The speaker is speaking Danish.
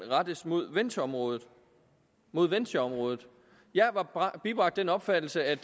rettes mod ventureområdet mod ventureområdet jeg var bibragt den opfattelse at